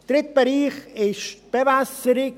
Der dritte Bereich ist die Bewässerung.